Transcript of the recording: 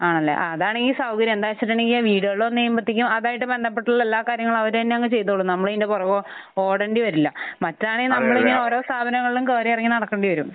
ആണല്ലേ. ആഹ്. അതാണെങ്കിൽ സൗകര്യം. എന്താണെന്ന് വെച്ചിട്ടുണ്ടെങ്കിൽ വീടുകളിൽ വന്നു കഴിയുമ്പൊത്തേക്കും അതായിട്ട് ബന്ധപ്പെട്ട എല്ലാ കാര്യങ്ങളും അവർ തന്നെ അങ്ങ് ചെയ്തോളും. നമ്മൾ അതിന്റെ പുറകെ ഓടേണ്ടി വരില്ല. മറ്റതാണെങ്കിൽ നമ്മൾ ഇങ്ങനെ ഓരോ സ്ഥാപനങ്ങളിലും കേറിയിറങ്ങി നടക്കേണ്ടി വരും.